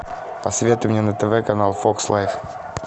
посоветуй мне на тв канал фокс лайф